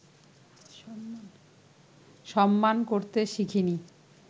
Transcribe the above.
সম্মান করতে শিখিনি